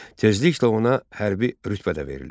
Tezliklə ona hərbi rütbə də verilir.